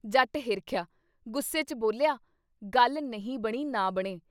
ਜੱਟ ਹਿਰਖਿਆ, ਗੁੱਸੇ 'ਚ ਬੋਲਿਆ- ਗੱਲ ਨਹੀਂ ਬਣੀ ਨਾ ਬਣੇ